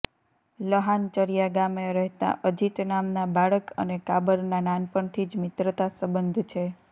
લહાનચર્યા ગામે રહેતા અજિત નામના બાળક અને કાબરનાં નાનપણથી જ મિત્રતા સંબધ છે